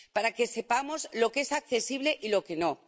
Para que sepamos lo que es accesible y lo que no.